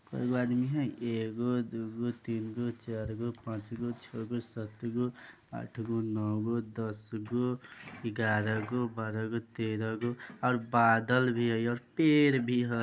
कै गो आदमी हई एक गो दू गो तीन गो चार गो पांच गो छौ गो सात गो आठ गो नौ गो दस गो एगारह गो बारह गो तेरह गो और बादल भी हई और पेड़ भी हई।